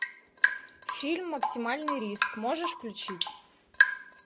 фильм максимальный риск можешь включить